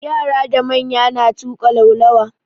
Yara da manya na tuƙa laulawa.